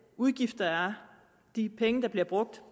udgift der er de penge der bliver brugt